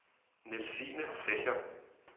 Nielsine Secher